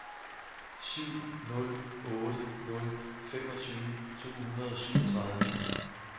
syv nul otte nul femogtyve to hundrede og syvogtredive